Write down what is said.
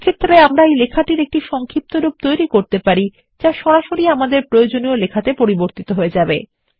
এক্ষেত্রে আমরা এই লেখাটির সংক্ষিপ্তরূপ তৈরী করতে পারি যা সরাসরি আমাদের প্রয়োজনীয় লেখাতে পরিবর্তিত হয়ে যাবে